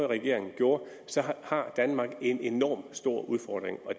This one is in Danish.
regering gjorde har danmark en enormt stor udfordring